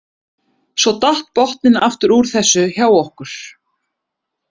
Svo datt botninn aftur úr þessu hjá okkur.